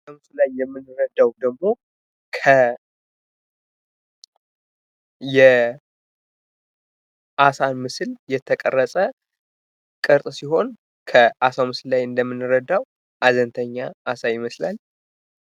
በምስሉ ላይ የምንረዳው ደግሞ የአሳ ምስል የተቀረጸ ቅርጽ ሲሆን ከአሳው ምስል ላይ አንደምንረዳው ሀንተኛ አሳ ይመስላል።